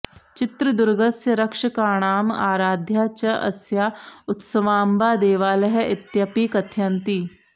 चित्रदुर्गस्य रक्षकाणाम् आराध्या च अस्याः उत्सवाम्बा देवालयः इत्यपि कथयन्ति